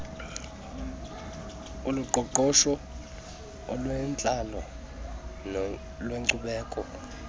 oloqoqosho olwentlalo nolwenkcubeko